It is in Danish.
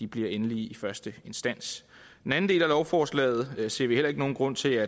bliver endelige i første instans den anden del af lovforslaget ser vi heller ikke nogen grund til